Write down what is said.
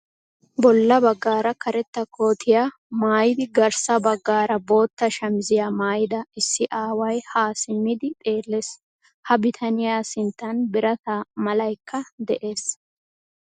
Bolla baggaara karetta kootiya maayidi garssa baggaara bootta shamiziya maayida issi aaway ha simmidi xeellees. Ha bitaniya sinttan birata malaykka de'ees.